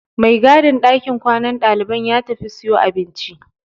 Mai gadin ɗakin kwanan ɗaliban ya tafi siyo abinci.